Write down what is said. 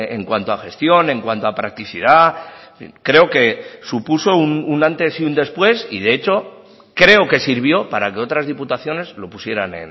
en cuanto a gestión en cuanto a practicidad creo que supuso un antes y un después y de hecho creo que sirvió para que otras diputaciones lo pusieran